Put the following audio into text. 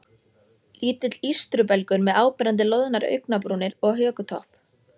Lítill ístrubelgur með áberandi loðnar augnabrúnir og hökutopp.